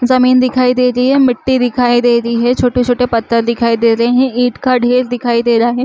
जमीन दिखाई दे रही है मिट्टी दिखाई दे रही है छोटे-छोटे पत्थर दिखाई दे रहे है ईंट का ढेर दिखाई दे रहा है।